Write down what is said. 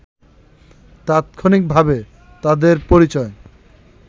তাৎক্ষণিকভাবে তাদের পরিচয়